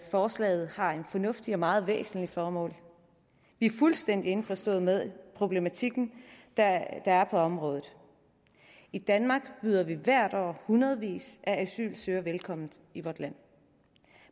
forslaget har et fornuftigt og meget væsentligt formål vi er fuldstændig indforstået med problematikken der er på området i danmark byder vi hvert år hundredvis at asylansøgere velkommen i vores land